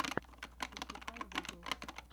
пошукай гугл